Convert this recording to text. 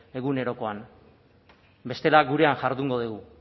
egunerokoan bestela gurean jardungo dugu